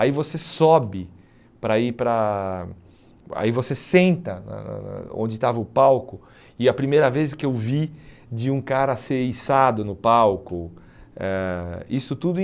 Aí você sobe para ir para, aí você senta na na na onde estava o palco, e a primeira vez que eu vi de um cara ser içado no palco, eh isso tudo em